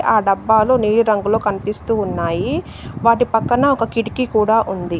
ఆ డబ్బాలు నీలి రంగులో కనిపిస్తూ ఉన్నాయి. వాటి పక్కన ఒక కిటికీ కూడా ఉంది.